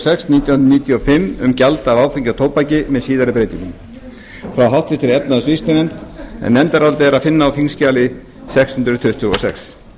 sex nítján hundruð níutíu og fimm um gjald af áfengi og tóbaki með síðari breytingum frá efnahags og viðskiptanefnd nefndarálitið er að finna á þingskjali sex hundruð tuttugu og sex